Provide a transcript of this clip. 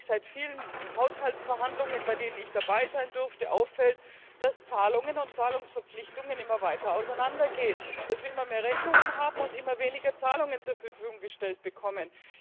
seit den vielen Haushaltsverhandlungen, bei denen ich dabei sein durfte, mehr als deutlich auffällt, dass Zahlungen und Zahlungsverpflichtungen immer weiter auseinandergehen, dass wir immer mehr Rechnungen haben und immer weniger Zahlungen zur Verfügung gestellt bekommen.